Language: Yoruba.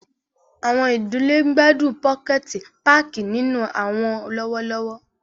Awọn idile ń gbadun pokẹti pààki ninu awọn lọwọlọwọ.